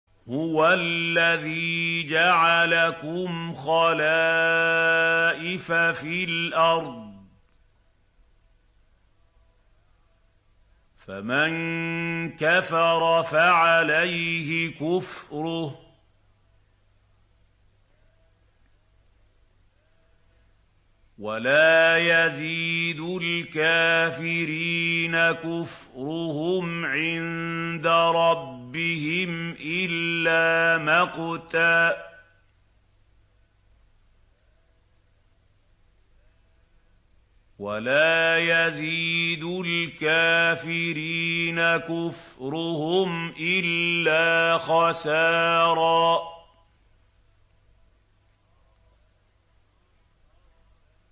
هُوَ الَّذِي جَعَلَكُمْ خَلَائِفَ فِي الْأَرْضِ ۚ فَمَن كَفَرَ فَعَلَيْهِ كُفْرُهُ ۖ وَلَا يَزِيدُ الْكَافِرِينَ كُفْرُهُمْ عِندَ رَبِّهِمْ إِلَّا مَقْتًا ۖ وَلَا يَزِيدُ الْكَافِرِينَ كُفْرُهُمْ إِلَّا خَسَارًا